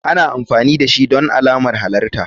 Ana amfani dashi don alamar halarta.